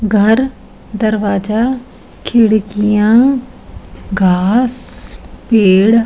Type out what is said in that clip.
घर दरवाजा खिड़कियां घास पेड़ --